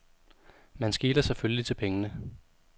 Man skeler selvfølgelig til pengene.